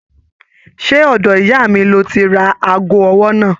Ṣe ọ̀dọ̀ ìyá mí lọ tí rà aago ọwọ náà?